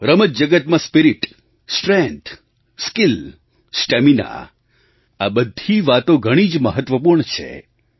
રમત જગતમાં spirit strength skill stamina આ બધી વાતો ઘણી જ મહત્ત્વપૂર્ણ છે